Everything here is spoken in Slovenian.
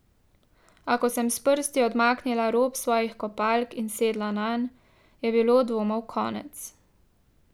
A, ko sem s prsti odmaknila rob svojih kopalk in sedla nanj, je bilo dvomov konec.